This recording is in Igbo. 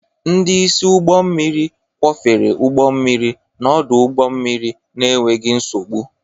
Ndị isi ụgbọ mmiri kwọfere ụgbọ mmiri n'ọdụ ụgbọ mmiri n'enweghị nsogbu.